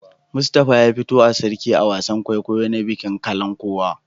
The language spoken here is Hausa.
Mustapha ya fito a Sarki a wasan kwaikwayo na bikin Kalankuwa.